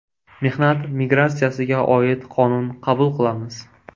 Mehnat migratsiyasiga oid qonun qabul qilamiz.